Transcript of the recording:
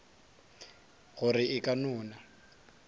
gore e ka no na